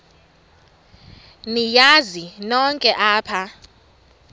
niyazi nonk apha